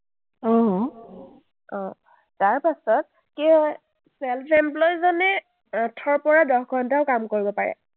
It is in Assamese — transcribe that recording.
অ, তাৰপাছত self employee জনে এৰ আঠৰ পৰা দহ ঘণ্টাও কাম কৰিব পাৰে।